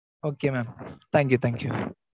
okay mam, thank you, thank you